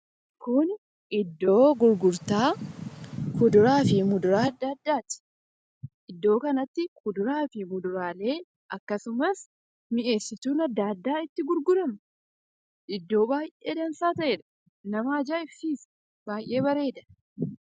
Kun iddoo gurgurtaa kuduraa fi muduraa adda addaati. Iddoo kanatti kuduraa fi muduraalee akkasumas mi'eessituuwwan adda addaa itti gurguramudha. Iddoo baay'ee dansaa ta'edha. Nama ajaa'ibsiisa; namatti tola.